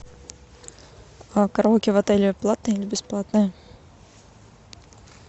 а караоке в отеле платное или бесплатное